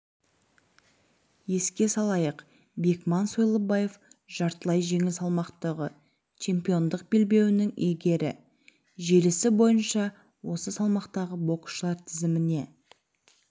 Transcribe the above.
еске салайық бекман сойлыбаев жартылай жеңіл салмақтағы чемпиондық белбеуінің иегері желісі бойынша осы салмақтағы боксшылар тізіміне